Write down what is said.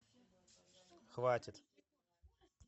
хватит